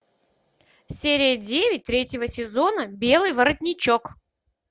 серия девять третьего сезона белый воротничок